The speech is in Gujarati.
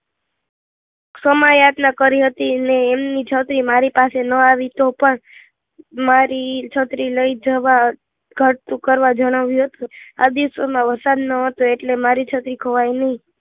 સમય યાચના કરી હતી ને એમની છત્રી મારી પાસે ન આવી તો પણ મારી છત્રી લઈ જવા ઘટતું કરવા જણાવ્યું હતું આ દિવસોમાં વરસાદ નહોતો એટલે મારી છત્રી ખોવાઈ નહીં